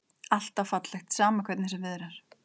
Alltaf fallegt, hvernig sem viðrar.